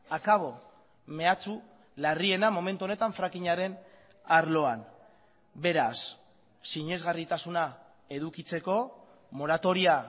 akabo mehatxu larriena momentu honetan frackingaren arloan beraz sinesgarritasuna edukitzeko moratoria